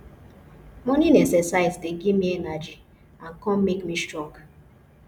morning exercise dey give me energy and come make me strong